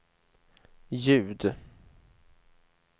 ljud